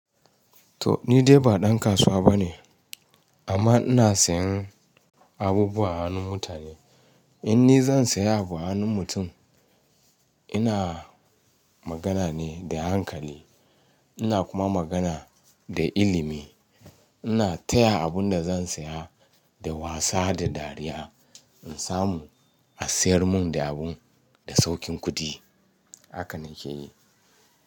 To ni dai ba dan kasuwa bane amma ina sayan abubuwa a hannun mutane. In ni zan saya abu a hannun mutum, ina magana ne da hankali ina kuma magana da ilimi. Ina taya abun da zan saya da wasa da dariya in samu a siyar mun da abun da saukin kuɗi. Haka na ke yi.